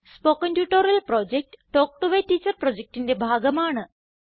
spoken tutorial project talk to a teacher പ്രൊജക്റ്റിന്റെ ഭാഗമാണ്